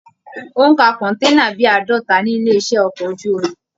Ó ń ka kọ̀nténà bíi àádọta ní ilé iṣẹ okọ̀ ojú omi.